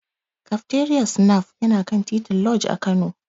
Kafteriyar Snaf yana kan titin Lodge a Kano.